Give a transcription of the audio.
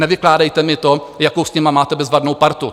Nevykládejte mi to, jakou s nimi máte bezvadnou partu.